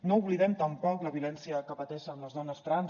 no oblidem tampoc la violència que pateixen les dones trans